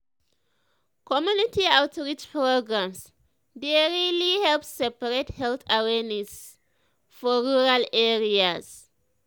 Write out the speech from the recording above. community outreach programs dey really help spread health awareness for rural areas.